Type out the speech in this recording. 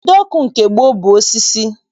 Ide ọkụ nke gboo bụ osisi